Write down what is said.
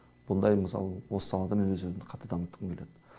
бұндай мысалы осы салада мен өз өзімді қатты дамытқым келеді